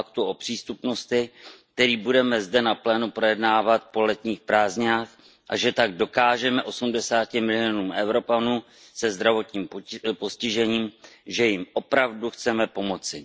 Aktu o přístupnosti, který budeme zde na plénu projednávat po letních prázdninách, a že tak dokážeme 80 milionům Evropanů se zdravotním postižením, že jim opravdu chceme pomoci!